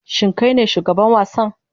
Shin kai ne shugaban wasan?